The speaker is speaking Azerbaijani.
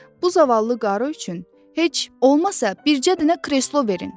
Bu zavallı qarı üçün heç olmasa bircə dənə kreslo verin!